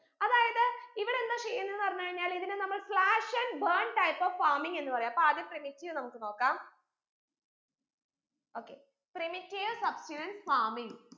അതായത് ഇവരെന്താ ചെയ്യുന്നെന്ന് പറഞ്ഞ് കഴിഞ്ഞാൽ ഇതിനെ നമ്മൾ slash and burn type of farming എന്ന് പറയ അപ്പൊ ആദ്യം primitive നമ്മുക്ക് നോക്കാം okayprimitive substenant farming